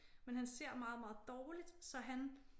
Men han ser meget meget dårligt så han